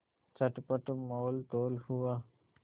चटपट मोलतोल हुआ